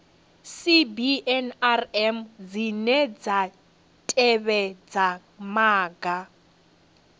cbnrm dzine dza tevhedza maga